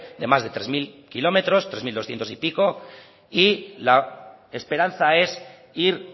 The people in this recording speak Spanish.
de más de tres mil kilómetros tres mil doscientos y pico y la esperanza es ir